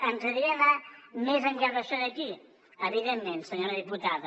ens agradaria anar més enllà d’això d’aquí evidentment senyora diputada